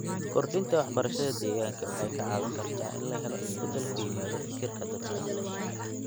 Kordhinta waxbarashada deegaanka waxay ka caawin kartaa in la helo isbedel ku yimaada fikirka dadka.